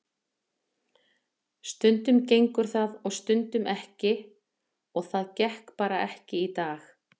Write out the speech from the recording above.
Stundum gengur það og stundum ekki og það gekk bara ekki í dag.